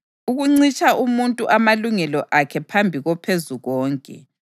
ukuncitsha umuntu amalungelo akhe phambi koPhezukonke,